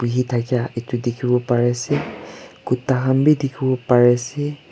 bhi thakia dikhibo parese kutta khan bhi dikhi bo pare se.